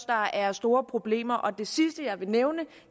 der er store problemer det sidste jeg vil nævne